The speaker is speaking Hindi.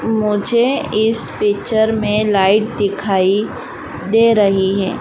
मुझे इस पिक्चर में लाइट दिखाई दे रही है।